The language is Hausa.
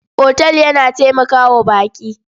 Otal yana taimaka wa baƙi.